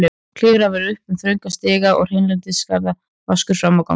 Klifra varð upp þrönga stiga og hreinlætisaðstaðan vaskur frammi á gangi.